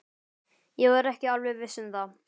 Ég var ekki alveg viss um það.